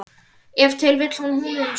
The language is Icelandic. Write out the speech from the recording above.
Ef til vill húninum sínum?